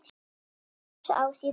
Ljóð: Ási í Bæ